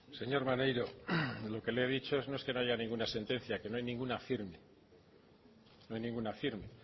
señor maneiro lo que le he dicho no es que no haya ninguna sentencia que no hay ninguna firme no hay ninguna firme